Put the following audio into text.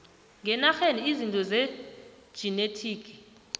ngenarheni izinto zejinethiki